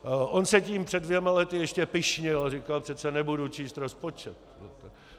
On se tím před dvěma lety ještě pyšnil a říkal: Přece nebudu číst rozpočet.